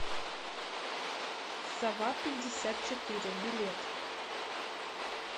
совапятьдесятчетыре билет